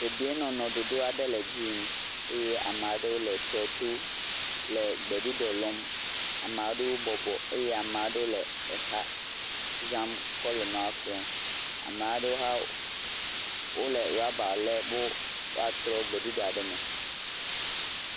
Dedienɔnɔ ɖoɖo aɖe le edzi yim, eye amea ɖewo le tɔ to le gbeɖuɖɔ lɔm, amea ɖewo bɔbɔ eye amea ɖewo le exa zam kɔ le nuawo kplɔm, amea ɖewo hã wole raba lém be woatrɔ gbeɖuɖɔa ɖe me.